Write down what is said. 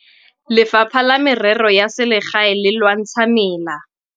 Lefapha la Merero ya Selegae le lwantsha mela.